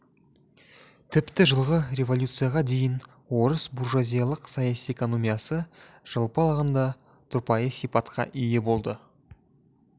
тіпті жылғы революцияға дейін орыс буржуазиялық саяси экономиясы жалпы алғанда тұрпайы сипатқа ие болды